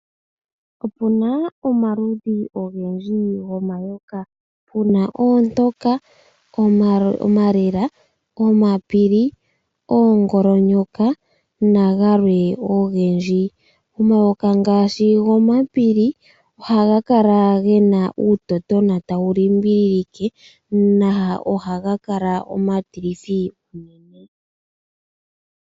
Opuna omaludhi igendji gomayoka. Puna oontoka, omalela, omapili, oongolonyoka, nagalwe ogendji. Omayokq ngaashi gomapili ohaga kala ge na uutotona tawu li mbililike, na ogaha kala omatilithi unene.